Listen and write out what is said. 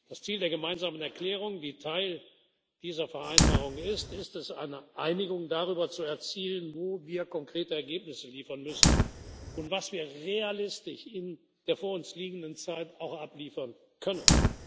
Das Ziel der gemeinsamen Erklärung, die Teil dieser Vereinbarung ist, ist es, eine Einigung darüber zu erzielen, wo wir konkrete Ergebnisse liefern müssen und was wir realistisch in der vor uns liegenden Zeit auch abliefern können.